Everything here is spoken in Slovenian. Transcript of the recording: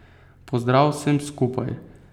Pozdrav vsem skupaj!